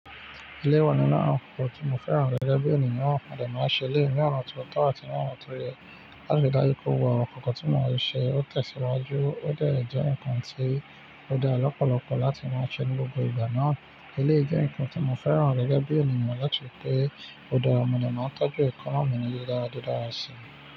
Eleyi wà nínú àwọn ǹnkan tí mo fẹ́ràn gẹ́gẹ́ bí ènìyàn naa. Mo de máa ń ṣe eléyi ní ọ̀nà ti ó tọ́ àti ní ọ̀nà ti ó yẹ láti dáju pé gbogbo àwọn ǹnkan kan tí mọ́ n ṣe ó tẹ̀síwájú, ó dè jẹ́ ǹnkan tí ó dá lọ́pọ̀lọpọ̀ láti máa ṣe ní gbogbo ìgbà náà. Eléyi jẹ́ ǹnkan tí mo fẹ́ràn rẹ̀ gẹ́gẹ́ bí ènìyàn láti pé ó dára, mo dè máa n tọ́jú ẹkonna mi ni di dára di dára sí i.